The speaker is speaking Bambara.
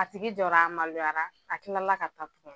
A tigi jɔra a maloyara a kilala ka taa tugun